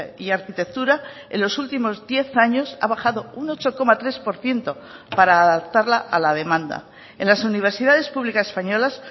y arquitectura en los últimos diez años ha bajado un ocho coma tres por ciento para adaptarla a la demanda en las universidades públicas españolas